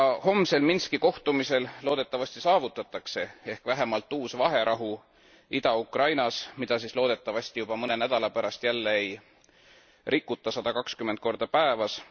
Homsel Minski kohtumisel loodetavasti saavutatakse vähemalt uus vaherahu Ida Ukrainas, mida siis loodetavasti juba mõne nädala pärast jälle ei rikuta sada kakskümmend korda päevas.